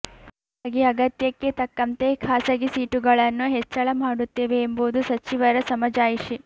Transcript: ಹಾಗಾಗಿ ಅಗತ್ಯಕ್ಕೆ ತಕ್ಕಂತೆ ಖಾಸಗಿ ಸೀಟುಗಳನ್ನು ಹೆಚ್ಚಳ ಮಾಡುತ್ತೇವೆ ಎಂಬುದು ಸಚಿವರ ಸಮಜಾಯಿಷಿ